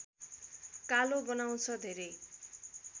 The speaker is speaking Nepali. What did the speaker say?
कालो बनाउँछ धेरै